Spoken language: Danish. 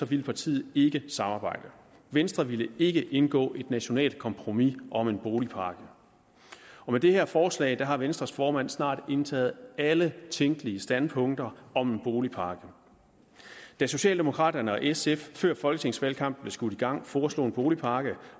ville partiet ikke samarbejde venstre ville ikke indgå et nationalt kompromis om en boligpakke og med det her forslag har venstres formand snart indtaget alle tænkelige standpunkter om en boligpakke da socialdemokraterne og sf før folketingsvalgkampen blev skudt i gang foreslog en boligpakke